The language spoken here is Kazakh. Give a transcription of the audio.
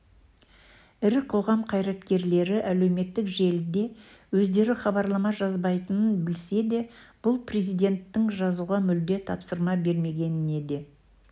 ірі қоғам қайраткерлері әлеуметтік желіде өздері хабарлама жазбайтынын білсе де бұл президенттің жазуға мүлде тапсырма бермегенін де